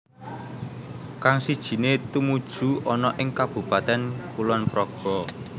Kang sijiné tumuju ana ing Kabupaten Kulonpraga